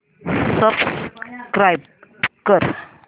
subscribe कर